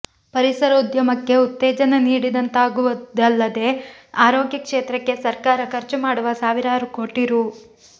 ಪರಿಸರ ಉದ್ಯಮಕ್ಕೆ ಉತ್ತೇಜನ ನೀಡಿದಂತಾಗುವುದಲ್ಲದೆ ಆರೋಗ್ಯ ಕ್ಷೇತ್ರಕ್ಕೆ ಸರ್ಕಾರ ಖರ್ಚು ಮಾಡುವ ಸಾವಿರಾರು ಕೋಟಿ ರೂ